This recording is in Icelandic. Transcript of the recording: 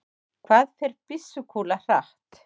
hvað fer byssukúla hratt